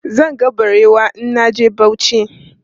Zan ga barewa in na je Bauchi.